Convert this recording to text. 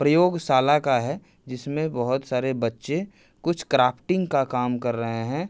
प्रयोग शाला का है जिसमे बहुत सारे बच्चे कुछ क्राफ्टिंग का काम कर रहे हैं।